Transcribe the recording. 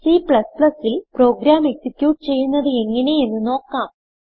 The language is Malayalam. C ൽ പ്രോഗ്രാം എക്സിക്യൂട്ട് ചെയ്യുന്നത് എങ്ങനെ എന്ന് നോക്കാം